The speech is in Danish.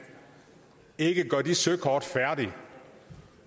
ikke gøre de søkort færdige